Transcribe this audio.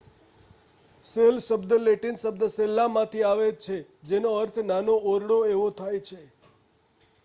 cell શબ્દ Latin શબ્દ સેલ્લામાંથી આવે છે જેનો અર્થ નાનો ઓરડો એવો થાય છે